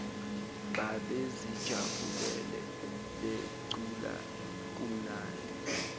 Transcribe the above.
babezijabulele becula kumnandi